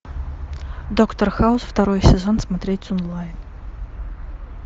доктор хаус второй сезон смотреть онлайн